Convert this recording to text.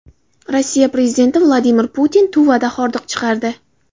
Rossiya prezidenti Vladimir Putin Tuvada hordiq chiqardi .